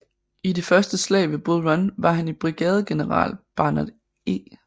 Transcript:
I det Første slag ved Bull Run var han i brigadegeneral Barnard E